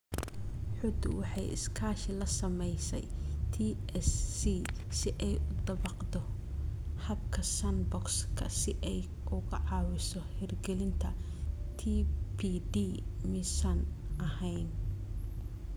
xuddu waxay iskaashi la samaysay TSC si ay u dabaqdo habka sandbox-ka si ay uga caawiso hirgelinta TPD miisaan ahaan.